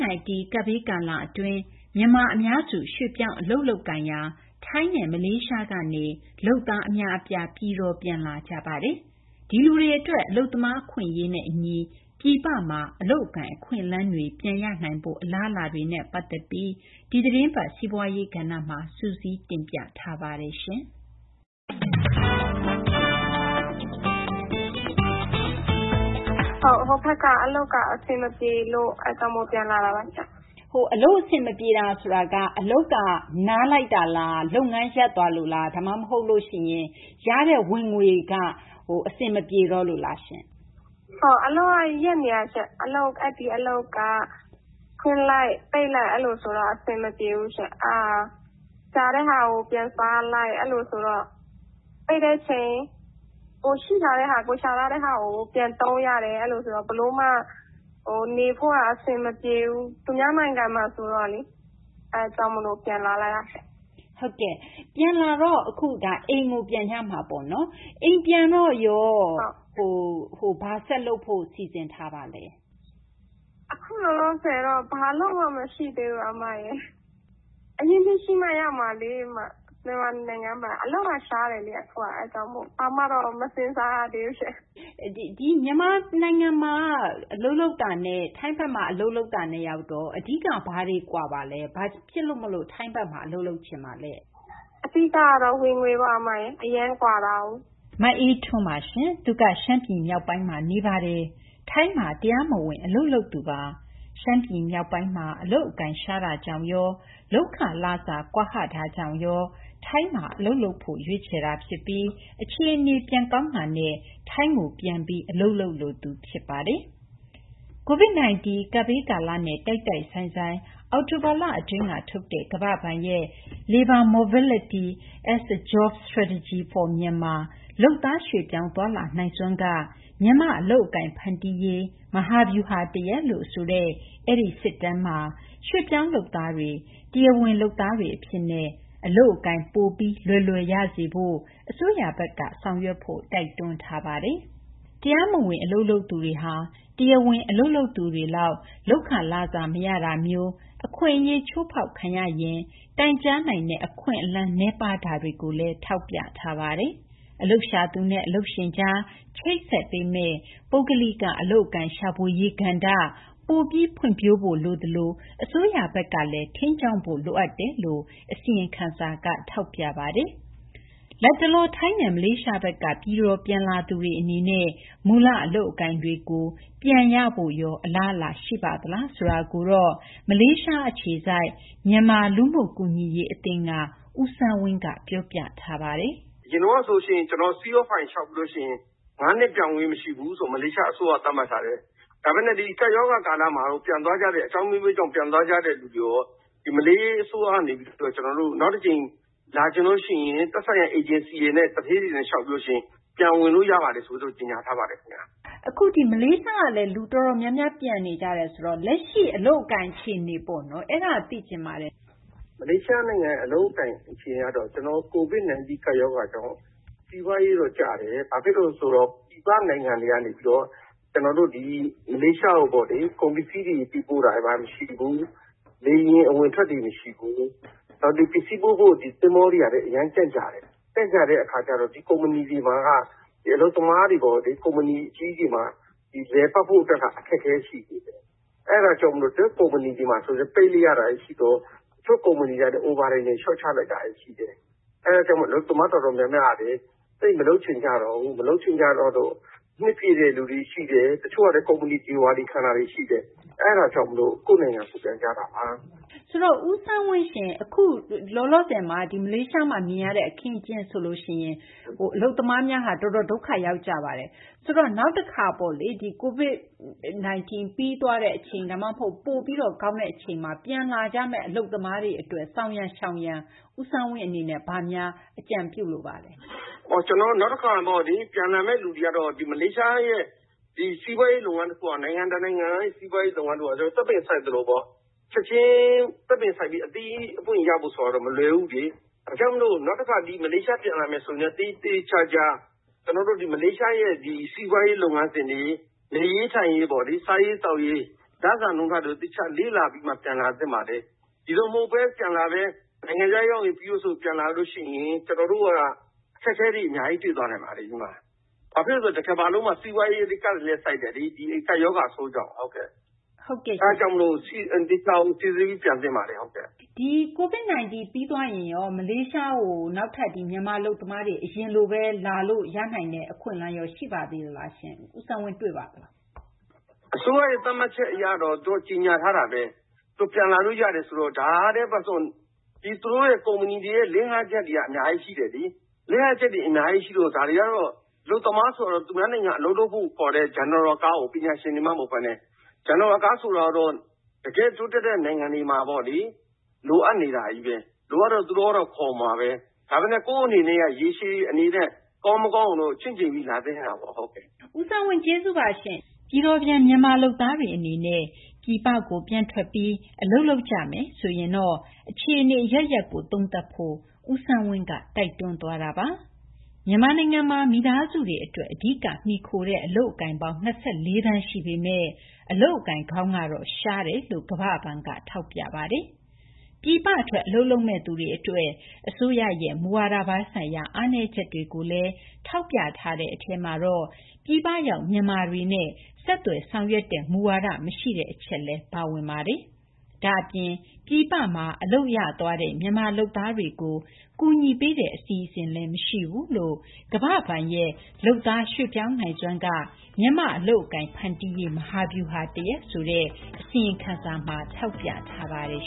-19 ကပ်ဘေး ကာလ အတွင်း မြန်မာ အများစု ရွှေ့ပြောင်း အလုပ်လုပ်ကိုင်ရာ ထိုင်းနဲ့ မလေးရှားကနေ လုပ်သား အများအပြား ဌာနေပြန်လာနေကြပါတယ်။ ဒီလူတွေ အတွက် အလုပ်သမား အခွင့်အရေးနဲ့ အညီ ပြည်ပမှာ အလုပ်အကိုင် အခွင့်အလမ်းတွေ ပြန်ရနိုင်ဖို့ အလားအလာတွေကို ဒီသီတင်းပတ် စီးပွားရေး ကဏ္ဍမှာ သိင်္ဂ ီထိုက် တင်ပြထားပါတယ်။ မအေးအေးထွန်း ။ ။ ဟိုဘက်က အလုပ်က အဆင်မပြေလို့ အဲဒါကြောင့်မို့ ပြန်လာတာပါ။ သိင်္ဂ ီထိုက် ။ ။ အလုပ် အဆင်မပြေတာဆိုတာက အလုပ်က နားလိုက်တာလား။ လုပ်ငန်း ရပ်သွားလို့လား။ ဒါမှ မဟုတ်ရင် ရတဲ့ ဝင်ငွေက အဆင်မပြေတော့လို့လားရှင့်။ မအေးအေးထွန်း ။ ။ အလုပ်က ရပ်နေတာရှင့်။ အလုပ်က ဖွင့်လိုက်၊ ပိတ်လိုက် ဆိုတော့ အဆင်မပြေဘူးရှင့်။ အဲဒါ ရှာတဲ့ဟာကို ပြန်စားလိုက်။ ပိတ်တဲ့ အချိန် ကိုယ်စုထားတဲ့ဟာ ကိုယ်ရှာထားတဲ့ဟာကို ပြန်သုံးရတယ်။ အဲလို ဆိုတော့ ဘယ်လိုမှ နေဖို့က အဆင်မပြေဘူး။ သူများနိုင်ငံမှာ ဆိုတော့လေ။ အဲဒါကြောင့် မို့လို ပြန်လာလိုက်တာ။ သိင်္ဂ ီထိုက် ။ ။ အိမ်ကို ပြန်ကြမှာပေါ့နော်။ အိမ်ပြန်တော့ရော ဘာဆက်လုပ်ဖို့ စီစဉ်ထားပါလဲ။ မအေးအေးထွန်း ။ ။ အခု လောလောဆယ်တော့ ဘာအလုပ်မှ မရှိသေးဘူး။ အရင်းအနှီးရှိမှ ရမှာလေ။ မြန်မာနိုင်ငံထဲမှာ အလုပ်က ရှားတယ်လေ။ အဲဒါကြောင့်မို့ ဘာမှတော့ မစဉ်းစားရသေးဘူးရှင့်။ သိင်္ဂ ီထိုက် ။ ။ မြန်မာနိုင်ငံမှာ အလုပ်လုပ်တာနဲ့ ထိုင်းဘက်မှာ အလုပ်လုပ်တာနဲ့ အဓိက ဘာတွေ ကွာပါလဲ။ ဘာကြောင့် ထိုင်းဘက်မှာ အလုပ်လုပ်ချင်တာလဲ။ မအေးအေးထွန်း ။ ။ အဓိက ကတော့ ဝင်ငွေပေါ့။ အရမ်းကွာတာကိုး။ မအေးအေးထွန်းပါ။ သူက ရှမ်းပြည် မြောက်ပိုင်းမှာ နေပါတယ်။ ထိုင်းနိုင်ငံမှာ တရားမဝင် အလုပ်လုပ်သူပါ။ ရှမ်းပြည် မြောက်ပိုင်းမှာ အလုပ်အကိုင် ရှားပါးတာကြောင့်ရော လုပ်ခ လစာ ကွာဟတာကြောင့်ရော ထိုင်းမှာ အလုပ်လုပ်ဖို့ ရွေးချယ်တာ ဖြစ်ပြီး အခြေအနေတွေ ပြန်ကောင်းတာနဲ့ ထိုင်းနိုင်ငံမှာ ပြန်ပြီး အလုပ်လုပ်လိုသူ ဖြစ်ပါတယ်။ COVID -19 ကပ်ဘေးကာလနဲ့ တိုက်တိုက်ဆိုင်ဆိုင် အောက်တိုဘာလ အတွင်းက ထုတ်တဲ့ ကမ္ဘာ့ဘဏ်ရဲ့ Labor Mobility as a Jobs Strategy for Myanmar – လုပ်သား ရွှေ့ပြောင်းသွားလာနိုင်စွမ်းက မြန်မာ့ အလုပ်အကိုင် ဖန်တီးရေး မဟာဗျူဟာ တရပ်လို့ ဆိုတဲ့ အဲဒီ စစ်တမ်းမှာ ရွှေ့ပြောင်း လုပ်သားတွေ တရားဝင် လုပ်သားတွေ အဖြစ်နဲ့ အလုပ်အကိုင် ပိုပြီး လွယ်လွယ် ရစေဖို့ အစိုးရဘက်က ဆောင်ရွက်ဖို့ တိုက်တွန်းထားပါတယ်။ တရားမဝင် အလုပ်လုပ်သူတွေဟာ တရားဝင် အလုပ်လုပ်သူတွေလောက် လုပ်ခ လစာ မရတာမျိုး၊ အခွင့်အရေး ချိုးဖောက်ခံရရင် တိုင်ကြားနိုင်တဲ့ အခွင့်အလမ်းမျိုး နည်းပါးတာကိုလည်း ထောက်ပြထားပါတယ်။ အလုပ်ရှာသူနဲ့ အလုပ်ရှင်ကြား ချိတ်ဆက်ပေးမယ့် ပုဂ္ဂလိက အလုပ်အကိုင် ရှာဖွေရေး ကဏ္ဍ ပိုပြီး ဖွံ့ဖြိုးဖို့ လိုသလို အစိုးရဘက်ကလည်း ထိန်းကျောင်းဖို့ လိုအပ်တယ်လို့ အစီရင်ခံစာက ဖော်ပြပါတယ်။ လတ်တလော ထိုင်းနဲ့ မလေးရှားဘက်က ပြည်တော် ပြန်လာသူတွေ အနေနဲ့ မူလ အလုပ်အကိုင်တွေကို ပြန်ရဖို့ရော အလားအလာ ရှိပါသလား ဆိုတာကို မလေးရှား အခြေစိုက် မြန်မာ မြန်မာ လူမှုကူညီရေး အသင်းက ဦးစန်းဝင်းက ပြောပြထားပါတယ်။ ဦးစန်းဝင်း ။ ။ အရင်ကတော့ CI လျှောက်ပြီးလို့ ရှိရင် ၅ နှစ် ပြန်ဝင်ခွင့် မရှိဘူးလို့ မလေးရှား အစိုးရက သတ်မှတ်ထားတယ်။ ဒါပေမယ့် ဒီ ကပ်ရောဂါ ကာလမှာတော့ အကြောင်း အမျိုးမျိုးကြောင့် ပြန်သွားကြမယ့် သူတွေရော နောက်တကြိမ် လာချင်လို့ ရှိရင် သက်ဆိုင်ရာ အေဂျင်စီတွေနဲ့ သူဌေးတွေနဲ့ လျှောက်ပြီးလို့ ရှိရင် ပြန်ဝင်လို့ ရပါတယ် ဆိုပြီးတော့ ကြေညာထားပါတယ် ခင်ဗျ။ သိင်္ဂ ီထိုက် ။ ။ မလေးရှားက နေလည်း အတော်များများ ပြန်နေကြတယ် ဆိုတော့ လက်ရှိ အလုပ်အကိုင် အခြေအနေ အဲဒါ သိချင်ပါတယ်။ ဦးစန်းဝင်း ။ ။ မလေးရှား အလုပ်အကိုင် အခြေအနေကတော့ လက်ရှိ COVID-19 ကပ်ရောဂါကြောင့် စီးပွားရေးတော့ ကျတယ်။ ဘာဖြစ်လို့လည်း ဆိုတော့ ပြည်ပနိုင်ငံတွေက နေပြီးတော့ ကျနော်တို့ ဒီ မလေးရှားကို ကုန်ပစ္စည်းတွေ ပို့တာ မရှိဘူး။ လေယာဉ် အဝင်အထွက်တွေ မရှိဘူး။ ပစ္စည်း ပို့ဖို့ သဘောၤတွေကလည်း ကြန့်ကြာတယ်။ အခုအချိန်မှာ လည်ပတ်ဖို့ အတွက်က အခက်အခဲ ရှိတယ်။ အဲဒါကြောင့် တချို့ ကုမ္ပဏီတွေ ပိတ်လိုက်ရတာတွေ ရှိတော့ တချို့ ကုမ္ပဏီတွေ Overtime တွေ လျှော့ချလိုက်တာ ရှိတယ်။ အဲဒါကြောင့် အလုပ်သမား တော်တော်များများက မလုပ်ချင်ကြတော့ဘူး။ အဲဒါကြောင့် နှစ်ပြည့်တဲ့ဟာတွေရှိတယ်၊ တချို့ကတော့ ကုမ္ပဏီ ဒေဝါလီ ခံရတာတွေ ရှိတယ်။ အဲဒါကြောင့် ကိုယ့်နိုင်ငံကိုယ် ပြန်ကြတာပါ။ သိင်္ဂ ီထိုက် ။ ။ အခု လောလောဆယ် မလေးရှားမှာ မြင်ရတဲ့ အခင်းအကျင်း ဆိုလို့ ရှိရင် အလုပ်သမားများဟာ အတော် ဒုက္ခရောက်ကြပါတယ်။ ဆိုတော့ နောက်တခါ ပေါ့လေ။ COVID-19 ပြီးသွားတဲ့ အချိန် ပိုပြီးလည်း ကောင်းသွားတဲ့ အချိန်မှာ ပြန်လာကြမယ့် လုပ်သားတွေ အတွက် ဆောင်ရန်၊ ရှောင်ရန် ဦးစန်းဝင်း အနေနဲ့ ဘယ်လိုများ အကြံပေးလိုပါလဲ။ ဦးစန်းဝင်း ။ ။ ကျနော်တို့ နောက်တခါပေါ့လေ ပြန်လာမယ့် သူတွေကတော့ ဒီ မလေးရှားရဲ့ စီးပွားရေး လုပ်ငန်း တခုဟာ နိုင်ငံ တနိုင်ငံရဲ့ စီးပွားရေး လုပ်ငန်း တခုဟာ သစ်ပင် စိုက်သလိုဘဲပေါ့။ ချက်ချင်း စိုက်ပြီး အသီးအပွင့် ရဖို့ ဆိုတာကတော့ မလွယ်ဘူးပေါ့။ ဒါကြောင့်မို့ နောက်တခါ ဒီ မလေးရှားကို ပြန်လာမယ့် သူတွေ အနေနဲ့ မလေးရှားရဲ့ စီးပွားရေး လုပ်ငန်းစဉ်တွေ နေရေး ထိုင်ရေး စားရေး သောက်ရေး လစာနှုန်းထားတွေကို သေချာ လေ့လာပြီးမှ ပြန်လာသင့်ပါတယ်။ ဒီလို မဟုတ်ဘဲနဲ့ တန်းပြန်လာမယ်၊ နိုင်ငံခြားရောက်ရင် ပြီးရော ဆိုပြီး ပြန်လာမယ်ဆိုရင် အခက်အခဲတွေနဲ့ တွေ့သွားနိုင်ပါတယ်။ ဘာဖြစ်လို့လဲ ဆိုတော့ တကမ္ဘာလုံးမှာ စီးပွားရေး အကြပ်ဆိုက်တယ်လေ ဒီ ကပ်ရောဂါပိုးကြောင့်။ အဲဒါကြောင့် သေချာကို စိစစ်ပြီး ပြန်သင့်ပါတယ်။ သိင်္ဂ ီထိုက် ။ ။ ဒီ COVID-19 ပြီးသွားရင်ရော မလေးရှားကို မြန်မာ အလုပ်သမားတွေ အရင်လိုဘဲ လာလို့ ရနိုင်တဲ့ အခွင့်အလမ်းရော ရှိပါသေးလား။ ဦးစန်းဝင်း ။ ။ အစိုးရရဲ့ သတ်မှတ်ချက် အရတော့ ကြေညာထားတာဘဲ။ ပြန်လာလို့ ရတယ်ဆိုတော့။ ဒီတော့ သူတို့ ကုမ္ပဏီတွေရဲ့ လစ်ဟာချက်တွေက အများကြီး ရှိတယ်လေ။ အလုပ်သမား ဆိုတာကတော့ သူများနိုင်ငံ အလုပ်လုပ်ဖု့ိ ခေါ်တဲ့ အထွေထွေ လုပ်သားဆိုတော့ ပညာရှင်တွေမှ မဟုတ်ဘဲနဲ့။ အထွေထွေ လုပ်သားဆိုတော့ တကယ့် တိုးတက်တဲ့ နိုင်ငံတွေမှာ လိုအပ်နေတာဘဲလေ။ လိုအပ်တော့ သူတို့ကတော့ ခေါ်မှာဘဲ။ ဒါပေမယ့် ကိုယ့်အနေနဲ့ ရေရှည် အနေနဲ့ ကောင်း မကောင်းကိုတော့ ချင့်ချိန်ပြီး လာသင့်ပါတယ်။ သိင်္ဂ ီထိုက် ။ ။ ဦးစန်းဝင်း ကျေးဇူးတင်ပါတယ်။ ပြည်တော်ပြန် မြန်မာ လုပ်သားတွေ အနေနဲ့ ပြည်ပကို ပြန်ထွက်ပြီး အလုပ်လုပ်ကြမယ်ဆိုရင် အခြေအနေ အရပ်ရပ်ကို သုံးသပ်ဖို့ ဦးစန်းဝင်းက တိုက်တွန်းသွားတာပါ။ မြန်မာနိုင်ငံမှာ မိသားစုတွေ အတွက် အဓိက မှီခိုတဲ့ အလုပ်အကိုင်ပေါင်း ၂၄ သန်း ရှိပေမယ့်လည်း အလုပ်အကိုင်ကောင်းကတော့ နည်းတယ်လို့ ကမ္ဘာ့ဘဏ်က ထောက်ပြပါတယ်။ ပြည်ပ ထွက် အလုပ်လုပ်မယ့်သူတွေ အတွက် အစိုးရရဲ့ မူဝါဒပိုင်းဆိုင်ရာ အားနည်းချက်တွေကိုလည်း ထောက်ပြထားတဲ့ အထဲမှာတော့ ပြည်ပရောက် မြန်မာတွေနဲ့ ဆက်သွယ် ဆောင်ရွက်တဲ့ မူဝါဒ မရှိတဲ့ အချက်လည်း ပါဝင်ပါတယ်။ ဒါ့အပြင် ပြည်ပမှာ အလုပ်ရသွားတဲ့ မြန်မာ လုပ်သားတွေကို ကူညီပေးတဲ့ အစီအစဉ်လည်း မရှိဘူးလို့ ကမ္ဘာ့ဘဏ်ရဲ့ လုပ်သား ရွှေ့ပြောင်းနိုင်စွမ်းက မြန်မာ့ အလုပ်အကိုင် ဖန်တီးရေး မဟာဗျူဟာ တရပ် ဆိုတဲ့ အစီရင်ခံစာက ထောက်ပြထားပါတယ်